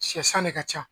Shɛ san ne ka ca